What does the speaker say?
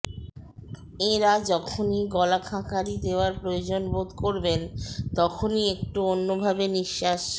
এঁরা যখনই গলা খাঁকারি দেওয়ার প্রয়োজন বোধ করবেন তখনই একটু অন্যভাবে নিঃশ্বাস